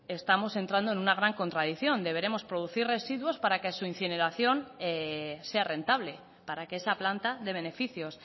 estamos entrando en una gran contradicción deberemos producir residuos para que su incineración sea rentable para que esa planta dé beneficios